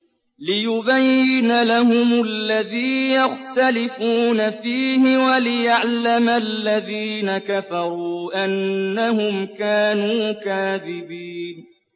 لِيُبَيِّنَ لَهُمُ الَّذِي يَخْتَلِفُونَ فِيهِ وَلِيَعْلَمَ الَّذِينَ كَفَرُوا أَنَّهُمْ كَانُوا كَاذِبِينَ